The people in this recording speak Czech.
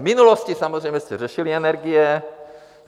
V minulosti samozřejmě jste řešili energie.